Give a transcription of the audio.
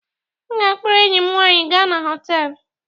M ga-akpọrọ enyi m nwanyị gaa na họtelu.